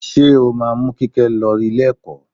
Ṣé o máa mú Kíkẹ́ lọ Ilé-ẹ̀kọ́?